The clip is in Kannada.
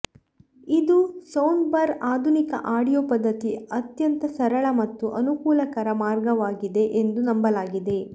ಇದು ಸೌಂಡ್ಬಾರ್ ಆಧುನಿಕ ಆಡಿಯೋ ಪದ್ಧತಿ ಅತ್ಯಂತ ಸರಳ ಮತ್ತು ಅನುಕೂಲಕರ ಮಾರ್ಗವಾಗಿದೆ ಎಂದು ನಂಬಲಾಗಿದೆ